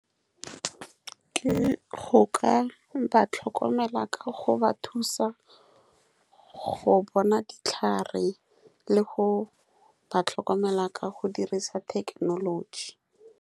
Ke go ka ba tlhokomela. Ka go ba thusa go bona ditlhare le go ba tlhokomela ka go dirisa thekenoloji.